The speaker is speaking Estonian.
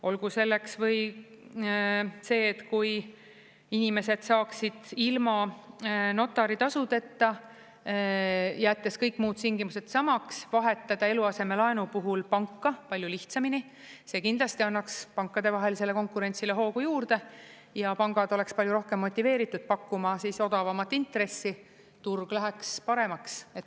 Olgu selleks või see, et kui inimesed saaksid ilma notaritasudeta, jättes kõik muud tingimused samaks, vahetada eluasemelaenu puhul panka palju lihtsamini, see kindlasti annaks pankadevahelisele konkurentsile hoogu juurde ja pangad oleksid palju rohkem motiveeritud pakkuma odavamat intressi, turg läheks paremaks.